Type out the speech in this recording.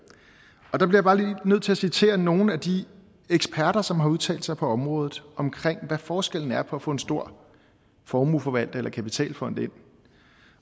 der bliver jeg bare lige nødt til at citere nogle af de eksperter som har udtalt sig på området om hvad forskellen er på at få en stor formueforvalter eller kapitalfond ind